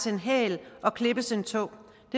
en hæl og klippes en tå